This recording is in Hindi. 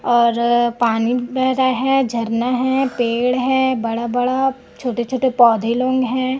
और पानी बेह रहा है झरना है पेड़ है बड़ा बड़ा छोटे छोटे पौधे लोन हैं।